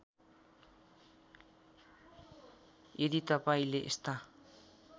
यदि तपाईँले यस्ता